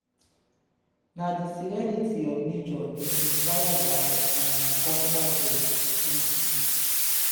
na di serenity of nature dey inspire my um personal growth. um